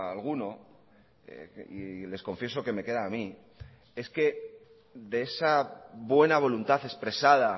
a alguno y les confieso que me queda a mí es que de esa buena voluntad expresada